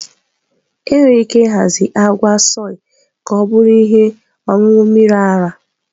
E nwere ike ịhazi agwa soy ka ọ bụrụ ihe ọṅụṅụ mmiri ara.